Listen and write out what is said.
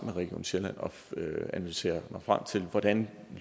med region sjælland at analysere mig frem til hvordan